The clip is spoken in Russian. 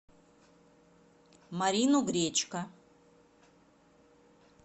марину гречко